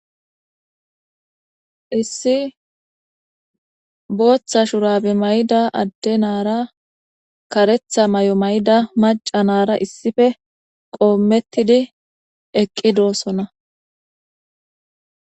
Issi Botha shurabe mayida Ade nara karetha mayo mayida maca nara issippe qometid eqidosona.